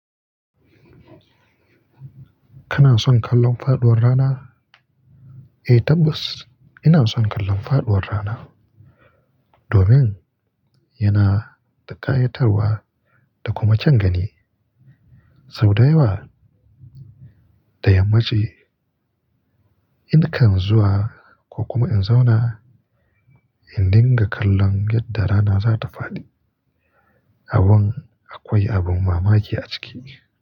Kana son kallon faɗuwar rana? Eh tabbas ina son kallon faɗuwar rana. Domin yana da kayatarwa da kuma kyan gani. Sau da yawa da yammaci in kan zuwa ko kuma in zauna in dinga kallon yadda rana zata faɗi. Abin akwai abin mamaki a ciki.